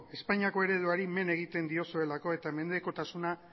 espainiako ereduari men egiten diozuelako eta menpekotasuna